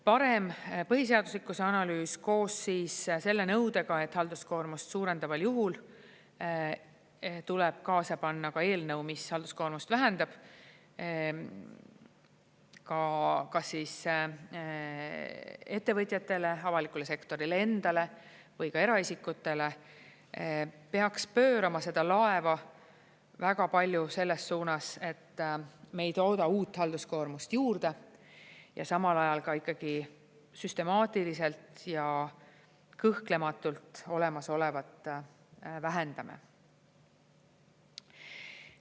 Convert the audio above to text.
Parem põhiseaduslikkuse analüüs koos selle nõudega, et halduskoormust suurendaval juhul tuleb kaasa panna ka eelnõu, mis halduskoormust vähendab, kas siis ettevõtjatele, avalikule sektorile endale või ka eraisikutele, peaks pöörama seda laeva väga palju selles suunas, et me ei tooda uut halduskoormust juurde, aga samal ajal ikkagi süstemaatiliselt ja kõhklematult olemasolevat vähendame.